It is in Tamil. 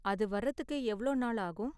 அது வரத்துக்கு எவ்வளவு நாள் ஆகும்?